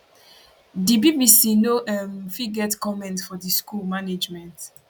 di bbc no um fit get comment from di school management